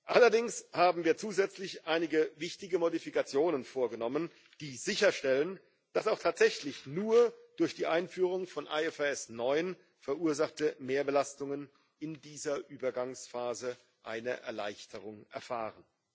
Allerdings haben wir zusätzlich einige wichtige Modifikationen vorgenommen, die sicherstellen, dass auch tatsächlich nur durch die Einführung von IFRS 9 verursachte Mehrbelastungen in dieser Übergangsphase eine Erleichterung erfahren.